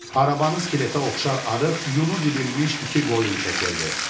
Arabanı skeletə oxşar arıq, yunu didilmiş iki qoyun çəkirdi.